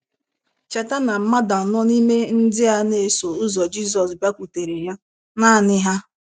Cheta na mmadụ anọ n’ime ndị na - eso ụzọ Jizọs bịakwutere ya “ naanị ha. ”